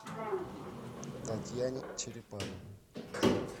татьяне черепановой